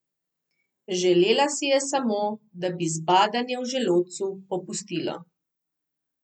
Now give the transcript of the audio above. Želela si je samo, da bi zbadanje v želodcu popustilo.